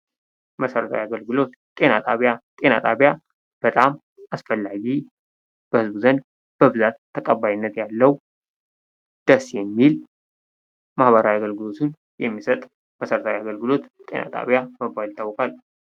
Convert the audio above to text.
መሠረታዊ አገልግሎት፦ ጤና ጣቢያ፦ ጤና ጣቢያ በጣም አስፈላጊ በህዝብ ዘንድ በብዛት ተቀባይነት ያለው ደስ የሚል ማህበራዊ አገልግሎቱን የሚሰጥ መሠረታዊ አገልግሎት ጤና ጣቢያ በመባል ይታወቃል ።